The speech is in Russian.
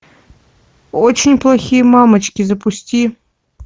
очень плохие мамочки запусти